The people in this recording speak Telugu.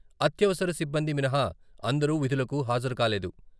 అత్యవసర సిబ్బంది మినహా అందరూ విధులకు హాజరుకాలేదు.